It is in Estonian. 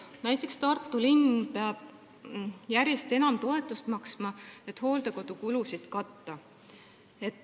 Näiteks peab Tartu linn järjest enam toetust maksma, et hooldekodukulusid katta.